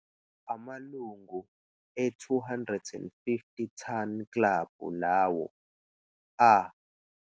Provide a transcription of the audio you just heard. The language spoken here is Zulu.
Amalungu e-250 Ton Club lawo a.